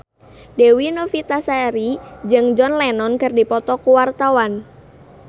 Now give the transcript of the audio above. Dewi Novitasari jeung John Lennon keur dipoto ku wartawan